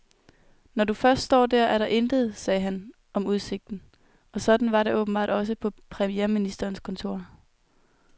Når du først står der, er der intet, sagde han om udsigten, og sådan var det åbenbart også på premierministerens kontor.